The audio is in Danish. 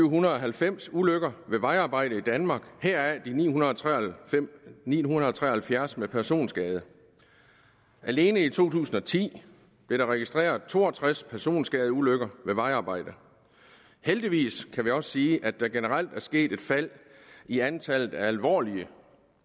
hundrede og halvfems ulykker ved vejarbejde i danmark heraf de ni hundrede ni hundrede og tre og halvfjerds med personskade alene i to tusind og ti blev der registreret to og tres personskadeulykker ved vejarbejde heldigvis kan vi også sige at der generelt er sket et fald i antallet af alvorlige